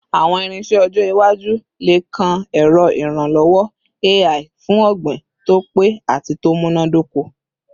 Awọn irinṣẹ ọjọ iwaju le kan ẹrọ iranlọwọ AI fun ogbin to pe ati to munadoko